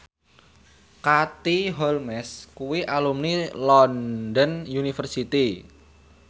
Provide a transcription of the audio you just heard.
Katie Holmes kuwi alumni London University